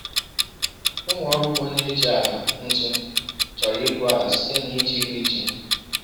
Ụmụ ọrụ ugbo na-eji ala ntu chọrọ igwu ala site n’iji riiji.”